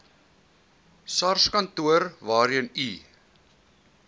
sarskantoor waarheen u